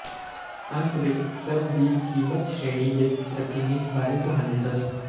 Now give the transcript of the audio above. ਅੰਤ ਵਿੱਚ ਸਭ ਦੀ ਕੀਮਤ ਸ਼੍ਰੇਣੀ ਦੇ ਪ੍ਰਤੀਨਿਧ ਬਾਰੇ ਤੁਹਾਨੂੰ ਦੱਸ